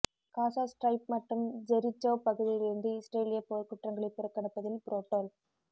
காசா strip மற்றும் Jericho பகுதியிலிருந்து இஸ்ரேலியப் போர்குற்றங்களைப் புறக்கணிப்பதில் புரோட்டோல்